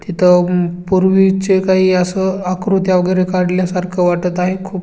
तिथ अ पूर्वी चे काही आस आकृत्या वगैरे काढल्या सारखं वाटत आहे खूप.